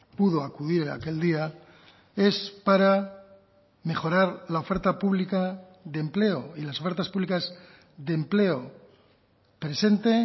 pudo acudir aquel día es para mejorar la oferta pública de empleo y las ofertas públicas de empleo presente